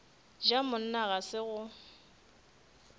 ja monna ga se go